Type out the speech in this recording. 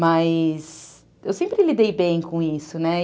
Mas eu sempre lidei bem com isso, né?